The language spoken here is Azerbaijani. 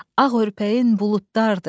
Ağ örpəyin buludlardır.